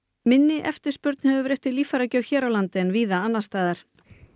minni eftirspurn hefur verið eftir líffæragjöf hér á landi en víða annars staðar